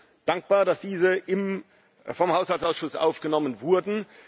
Wir sind dankbar, dass diese vom Haushaltsausschuss aufgenommen wurden.